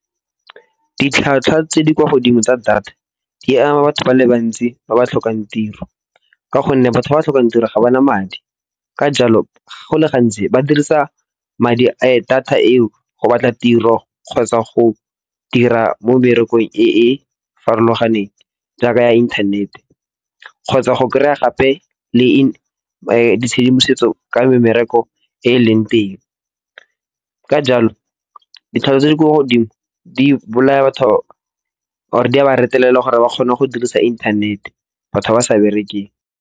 Ditlhwatlhwa tse di kwa godimo tsa data di ama batho ba le bantsi ba ba tlhokang tiro. Ka gonne batho ba ba tlhokang tiro ga ba na madi. Ka jalo, go le gantsi ba dirisa data eo go batla tiro kgotsa go dira mo mmerekong e e farologaneng jaaka ya inthanete kgotsa go kry-a gape le tshedimosetso ka me mmereko e leng teng. Ka jalo, ditlhwatlhwa tse di kwa godimo di bolaya batho or di a ba retelelwa gore ba kgone go dirisa inthanete batho ba sa berekeng.